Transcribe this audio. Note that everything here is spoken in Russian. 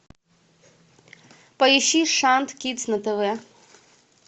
поищи шант кидс на тв